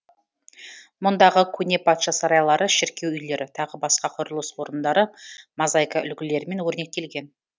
мұндағы көне патша сарайлары шіркеу үйлері тағы басқа құрылыс орындары мозаика үлгілерімен өрнектелген